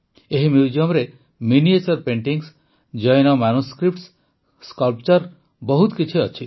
ଏହି ମ୍ୟୁଜିୟମରେ miniature paintings Jain manuscripts sculpture ବହୁତ କିଛି ଅଛି